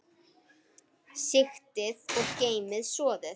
Sigtið og geymið soðið.